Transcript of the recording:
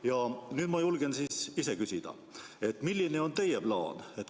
" Ja nüüd ma julgen siis küsida, milline on teie plaan.